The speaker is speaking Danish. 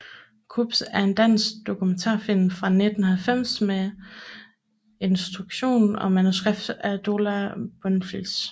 Gurps er en dansk dokumentarfilm fra 1990 med instruktion og manuskript af Dola Bonfils